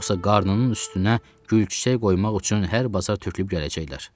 Yoxsa qarnının üstünə gül çiçək qoymaq üçün hər bazar tökülüb gələcəklər.